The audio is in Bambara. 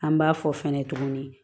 An b'a fɔ fɛnɛ tuguni